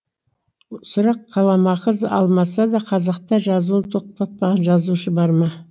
сұрақ қаламақы алмаса да қазақта жазуын тоқтатпаған жазушы бар ма